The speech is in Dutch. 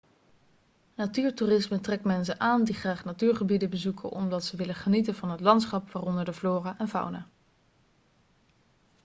natuurtoerisme trekt mensen aan die graag natuurgebieden bezoeken omdat ze willen genieten van het landschap waaronder de flora en fauna